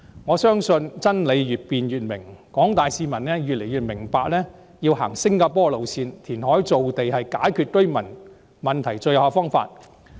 我相信真理越辯越明，廣大市民越來越明白，要走新加坡的路線，填海造地是解決居住問題的最有效方法。